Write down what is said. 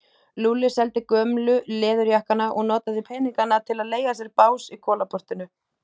Lúlli seldi gömlu leður- jakkana og notaði peningana til að leigja sér bás í Kolaportinu.